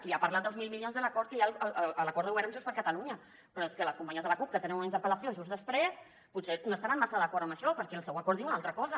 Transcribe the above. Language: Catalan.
i ha parlat dels mil milions de l’acord que hi ha l’acord de govern amb junts per catalunya però és que les companyes de la cup que tenen una interpel·lació just després potser no estaran massa d’acord amb això perquè el seu acord diu una altra cosa